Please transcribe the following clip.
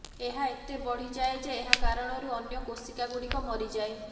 ଏହା ଏତେ ବଢ଼ିଯାଏ ଯେ ଏହାକାରଣରୁ ଅନ୍ୟ କୋଷିକାଗୁଡ଼ିକ ମରିଯାଏ